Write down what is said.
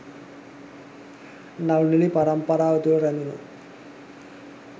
නළු නිළි පරම්පරාව තුළ රැඳුණු